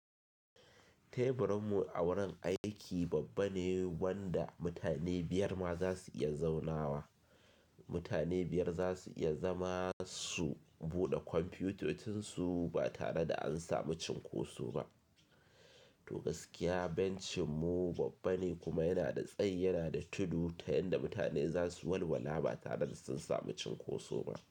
Teburinmu a wurin aiki babba ne wanda mutane biyar ma za su iya zaunawa. Mutane biyar za su iya zama su buɗe kwamfiyutocin su ba tare da an samu cinkoso ba. To gaskiya bencinmu babba ne kuma yana da tsayi yana da tudu ta yanda mutane za su walwala ba tare da sun samu cinkoso ba.